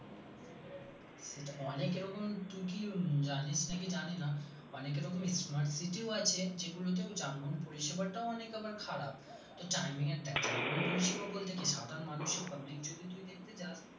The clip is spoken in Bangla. সেটা অনেক এরকম তুই কি জানিস নাকি জানিনা অনেক এরকম smart city ও আছে যেগুলোতেও যানবাহন পরিষেবাটাও আবার অনেক খারাপ তো timing এর দেখ যানবাহন পরিষেবা বলতে কি সাধারণ মানুষ public যদি তুই দেখতে যাস